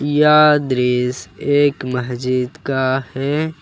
यह दृश्य एक मस्जिद का है।